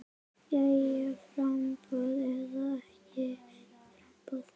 Jæja framboð eða ekki framboð?